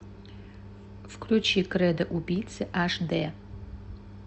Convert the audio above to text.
включи кредо убийцы аш дэ